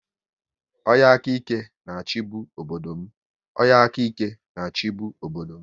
Onye aka ike na-achibu obodo m